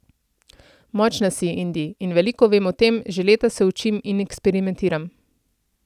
Močna si, Indi, in veliko vem o tem, že leta se učim in eksperimentiram.